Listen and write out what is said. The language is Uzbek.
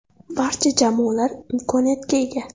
Barcha jamoalar imkoniyatga ega.